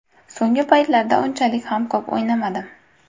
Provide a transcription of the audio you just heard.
So‘nggi paytlarda unchalik ham ko‘p o‘ynamadim.